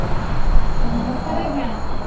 ନମସ୍କାର ଆଂଜ୍ଞା